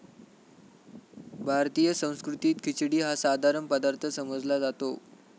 भारतीय संस्कृतीत खिचडी हा साधारण पदार्थ समजला जातो.